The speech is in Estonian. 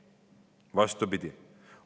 Vastupidi.